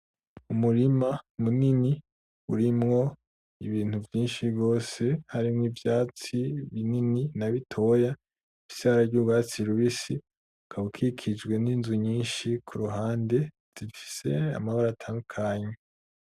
Umurima munini urimwo ibintu vyishi gose harimwo ivyatsi binini na bitoya bifise ibara ry'urwatsi rubisi ukaba ukikujwe n'inzu nyishi kuruhande zifise amabara atandukanye.